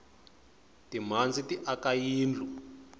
timhandzi ti aka yindlu